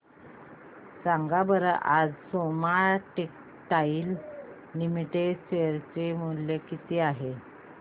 सांगा बरं आज सोमा टेक्सटाइल लिमिटेड चे शेअर चे मूल्य किती आहे